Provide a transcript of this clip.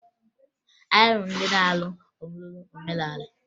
Anyị hụrụ ndị na-alụ ọlụlụ omenala